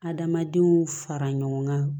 Adamadenw fara ɲɔgɔn kan